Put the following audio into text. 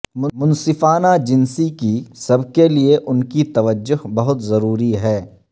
منصفانہ جنسی کی سب کے لئے ان کی توجہ بہت ضروری ہے